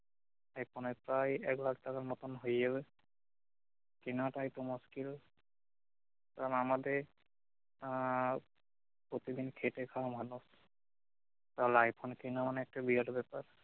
আইফোনের প্রায়ই এক লাখ টাকার মতোন হয়ে যাবে কেনাটাই তো মস্কিল কারন আমাদের আহ প্রতিদিন খেটে খাওয়া মানুষ তাহলে আইফোন কেনা মানে একটা বিরাট ব্যাপার